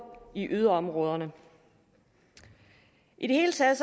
i yderområderne i det hele taget